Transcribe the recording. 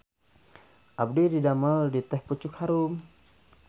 Abdi didamel di Teh Pucuk Harum